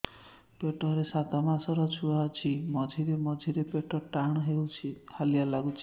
ପେଟ ରେ ସାତମାସର ଛୁଆ ଅଛି ମଝିରେ ମଝିରେ ପେଟ ଟାଣ ହେଇଯାଉଚି ହାଲିଆ ଲାଗୁଚି